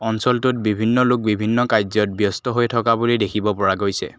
অঞ্চলটোত বিভিন্ন লোক বিভিন্ন কাৰ্য্যত ব্যস্ত হৈ থকা বুলি দেখিব পৰা গৈছে।